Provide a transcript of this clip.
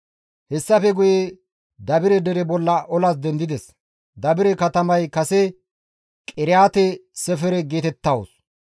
Hessafe guye Dabire dere bolla olas dendides; Dabire katamay kase Qiriyaate-Sefere geetettawus.